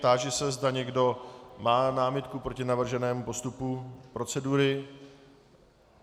Táži se, zda někdo má námitku proti navrženému postupu procedury?